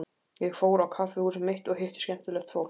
Ég fór á kaffihúsið mitt og hitti skemmtilegt fólk.